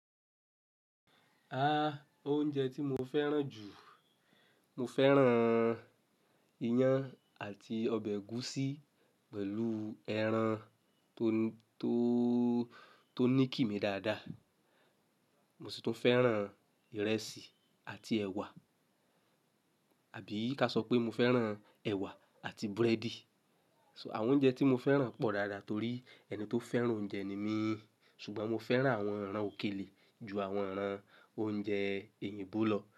A, oúnjẹ tí mo fẹ́ràn jù, mo fẹ́ràn iyán àti ọbẹ̀ ẹ̀gúsí pẹ̀lú ẹran tó, tó, tó ní kì mí dáadáa. Mo sì tún fẹ́ràn ìrẹsì àti ẹ̀wà àbí ká sọ pé mo fẹ́ràn ẹ̀wà àti búrẹ́dì. So àwọn oúnjẹ tí mo fẹ́ràn pọ̀ dáadáa torí ẹni tó fẹ́ràn oúnjẹ ni mí. Ṣùgbọ́n mo fẹ́ràn àwọn ẹran òkèlè ju àwọn ẹran oúnjẹ Oyìńbo lọ.